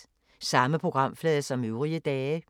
Samme programflade som øvrige dage